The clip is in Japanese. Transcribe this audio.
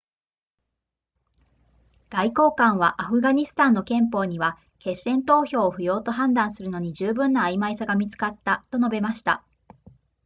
外交官はアフガニスタンの憲法には決戦投票を不要と判断するのに十分な曖昧さが見つかったと述べました